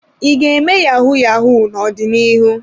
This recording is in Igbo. I ga-eme yahu-yahu n'ọdịnihu?